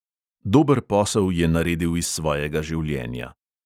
Dober posel je naredil iz svojega življenja.